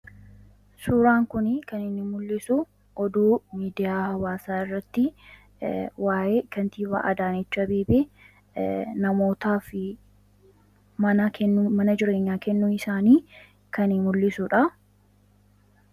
suuraan kuni kan inni mul'isu oduu miidiyaa hawaasaa irratti waa'ee kantibaa Adaanech Abeebee namootaa fi mana jireenyaa kennuu isaanii kani mul'isuudha.